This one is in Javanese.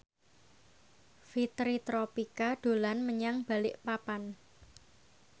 Fitri Tropika dolan menyang Balikpapan